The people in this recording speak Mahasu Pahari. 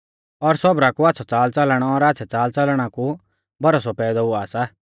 और सौबरा कु आच़्छ़ौ च़ालच़लन और आच़्छ़ै च़ालच़लना कु भरोसौ पैदौ हुआ सा